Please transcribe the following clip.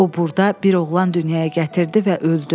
O burda bir oğlan dünyaya gətirdi və öldü.